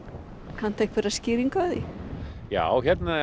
kanntu einhverja skýringu á því já hérna í